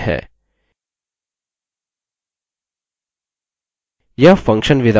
यह function wizard नामक एक नई पॉपअप window खोलता है